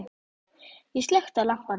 Ég slökkti á lampanum.